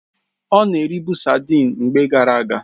Ọ na eribu sadịn mgbe gara aga